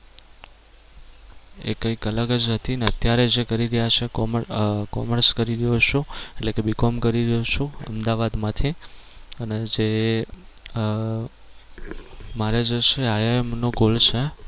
એ કઈક અલગ જ હતી અને અત્યારે જે કરી રહ્યા છે commerce આહ commerce કરી રહ્યો છું એટલે કે B com કરી રહ્યો છું અમદાવાદ માંથી અને જે આહ મારે જે છે IIM નો course છે